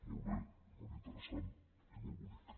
molt bé molt interessant i molt bonic